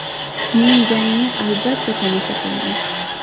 Men jangni, albatta, tomosha qilaman.